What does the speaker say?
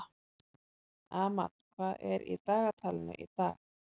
Amal, hvað er í dagatalinu í dag?